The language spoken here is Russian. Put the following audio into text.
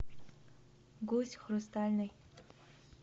гусь хрустальный